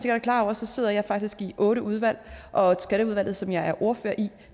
er klar over sidder jeg faktisk i otte udvalg og skatteudvalget som jeg er ordfører i